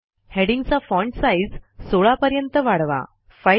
हेडिंग्जचा font size 16 पर्यंत वाढवा